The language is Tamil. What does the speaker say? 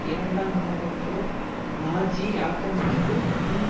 இரண்டாம் உலக போர் நாஜி ஆக்கிரமிப்பு மற்றும்